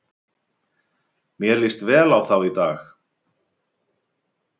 Mér líst vel á þá í dag.